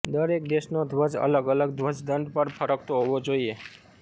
દરેક દેશનો ધ્વજ અલગ અલગ ધ્વજદંડ પર ફરકતો હોવો જોઇએ